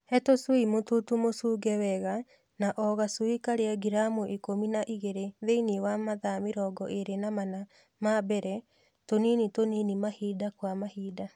He tushui mũtutu mũshunge wega na o gashui kalĩe giramu ikũmi na igĩlĩ thĩinĩ wa mathaa mĩrongo ĩlĩ na mana ma mbele, tũnini tũnini mahinda kwa mahinda